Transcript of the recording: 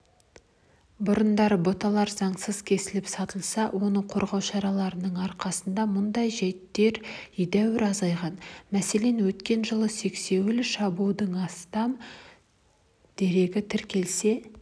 бұрындары бұталар заңсыз кесіліп сатылса оны қорғау шараларының арқасында мұндай жәйттер едәуір азайған мәселен өткен жылда сексеуіл шабудың астам дерегі тіркелсе